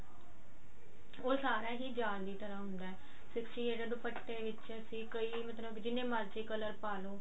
ਉਹ ਸਾਰਾ ਹੀ ਜਾਲ ਦੀ ਤਰਾਂ ਹੁੰਦਾ sixty eight ਦੁਪੱਟੇ ਵਿੱਚ ਅਸੀਂ ਕਈ ਮਤਲਬ ਜਿੰਨੇ ਮਰਜੀ ਤੁਸੀਂ color ਪਾ ਲੋ